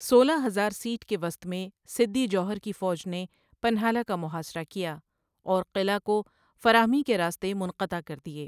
سولا ہزار سیٹ کے وسط میں سِدّی جوہر کی فوج نے پنہالہ کا محاصرہ کیا، اور قلعہ کو فراہمی کے راستے منقطع کر دیے۔